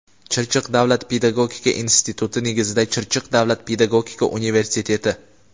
Chirchiq davlat pedagogika instituti negizida Chirchiq davlat pedagogika universiteti;.